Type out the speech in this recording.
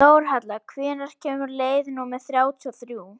Þórhalla, hvenær kemur leið númer þrjátíu og þrjú?